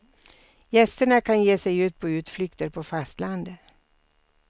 Gästerna kan ge sig ut på utflykter på fastlandet.